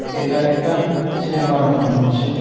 এটা একটা চেম্বার মনে হচ্ছে.